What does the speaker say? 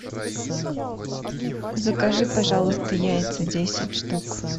закажи пожалуйста яйца десять штук